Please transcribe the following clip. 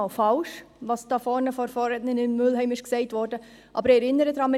Ich halte Grossrätin Mühlheims Aussagen nicht einmal für falsch, aber ich erinnere daran: